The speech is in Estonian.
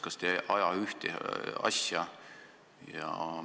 Kas te ei aja ühte asja?